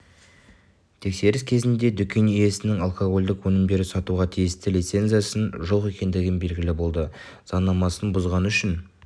тексеріс кезінде дүкен иесінің алкогольдік өнімдерді сатуға тиісті лицензиясының жоқ екендігі белгілі болды заңнамасын бұзғаны үшін